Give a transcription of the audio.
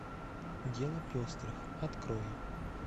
дело пестрых открой